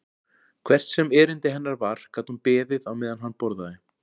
Hvert sem erindi hennar var gat hún beðið á meðan hann borðaði.